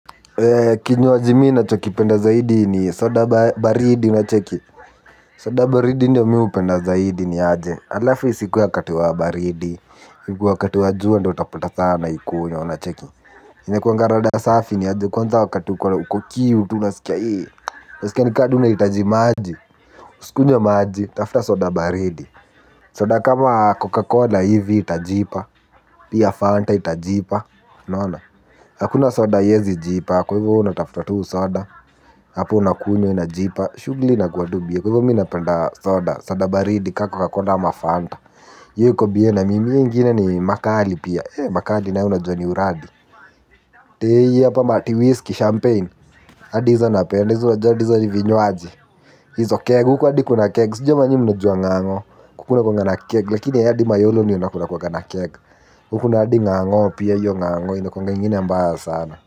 Kinywaji mimi nachokipenda zaidi ni soda baridi unacheki. Soda baridi ndo mimi hupenda zaidi ni aje. Alafu isikuwe wakati wa baridi wakati wa jua ndo utapata sa naikunywa unacheki. Inakwaga rada safi ni aje kwanza wakati kwa uko kiu tu unasikia hii. Unasikia ni ka tu unahitaji maji. Uskunywe maji. Tafta soda baridi. Soda kama Coca-Cola hivi itajipa. Pia Fanta itajipa unaona. Hakuna soda haiezi jipa. Kwa hivo wewe unatafuta tu soda. Apo unakunywa inajipa. Shugli inakuwa tu bie. Kwa hivyo mimi napenda soda. Soda baridi ka coca-cola ama fanta hiyo iko bie na mimi hii ingine ni makali pia. Makali naye unajua ni uradi. Tei hapa matiwhisky champagne adi hizo napenda. Hizo unajua hadi hizo ni vinywaji hizo keg huku hadi kuna keg sijui kama nyi mnajua ng'ang'o huku kunakuaga na keg lakini hadi mayolo ndio kunakuaga na keg huku kuna hadi ng'ang'o pia hiyo ng'ang'o inakuaga ingine mbaya sana.